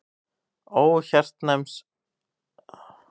Ó hjartkæra Sólrún, þá stund er ég leit þig fyrst mun ég alt af blessa.